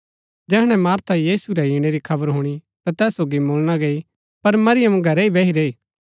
जैहणै मार्था यीशु रै ईणै री खबर हुणी ता तैस सोगी मुळना गई पर मरियम घरै ही बैही रैई